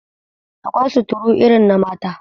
Akwai suturu irin na mata